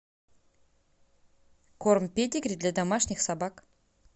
корм педигри для домашних собак